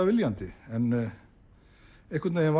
viljandi en einhvern veginn